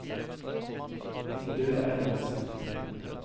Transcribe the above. Hildur Erlandsen